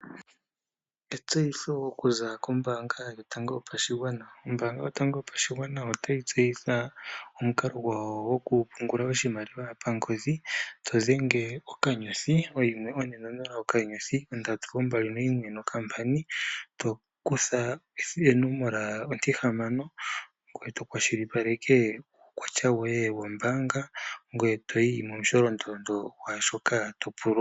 Etseyitho okuza koombaanga yotango yopashigwana. Ombaanga yotango yopashigwana otayi tseyitha omukalo gwayo gokupungula oshimaliwa pangodhi to dhenge *140*321# to kutha onomola ontihamano ngoye to washilipaleka uukwatya woye wombaanga, ngoye to yi momusholondondo gwaa shoka to pulwa.